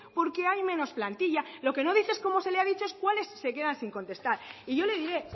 porque hay menos plantilla lo que no dice es como se le ha dicho cuáles se quedan sin contestar y yo le diré